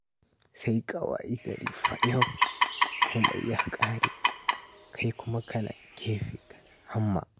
Sai ka wayi gari fayau, komai ya ƙare, kai kuma kana gefe kana hamma.